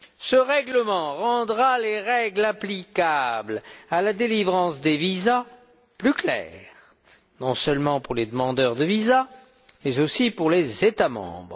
Ce règlement rendra les règles applicables à la délivrance de visas plus claires, non seulement pour les demandeurs de visas, mais aussi pour les États membres.